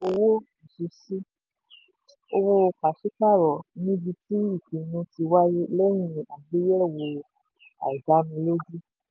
owó ìṣesí: owó pàṣípààrọ̀ níbi tí ìpinnu ti wáyé lẹ́yìn àgbéyẹ̀wò àìdánilójú.